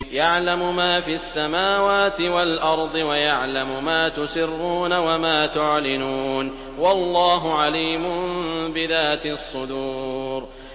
يَعْلَمُ مَا فِي السَّمَاوَاتِ وَالْأَرْضِ وَيَعْلَمُ مَا تُسِرُّونَ وَمَا تُعْلِنُونَ ۚ وَاللَّهُ عَلِيمٌ بِذَاتِ الصُّدُورِ